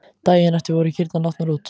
Daginn eftir voru kýrnar látnar út.